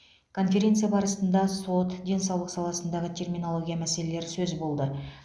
конференция барысында сот денсаулық саласындағы терминология мәселелері сөз болды